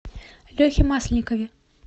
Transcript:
лехе масленникове